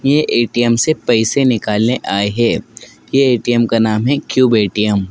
ये ए_टी_एम से पैसे निकालने आए हैं ये ए_टी_एम का नाम है क्यूब ए_टी_एम --